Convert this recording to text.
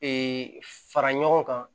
fara ɲɔgɔn kan